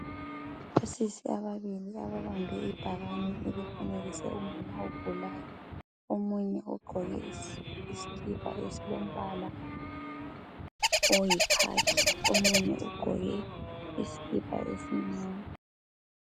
Osisi ababili ababambe ibhakane elifanekise umama ogulayo omunye ugqoke isikipa esilombala oyikhakhi omunye ugqoke isikipa esimnyama.